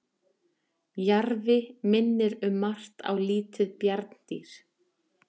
jarfi minnir um margt á lítið bjarndýr